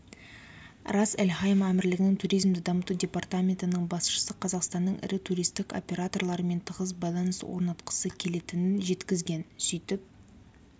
рас-эль-хайма әмірлігінің туризмді дамыту департаментінің басшысы қазақстанның ірі туристік операторларымен тығыз байланыс орнатқысы келетінін жеткізген сөйтіп